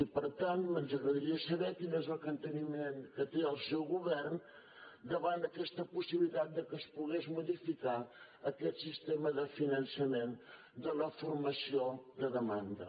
i per tant ens agradaria saber quin és el capteniment que té el seu govern davant d’aquesta possibilitat que es pogués modificar aquest sistema de finançament de la formació de demanda